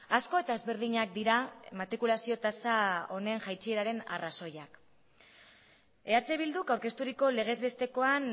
asko eta ezberdinak dira matrikulazio tasa honen jaitsieraren arrazoiak eh bilduk aurkezturiko legez bestekoan